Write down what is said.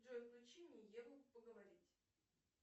джой включи мне еву поговорить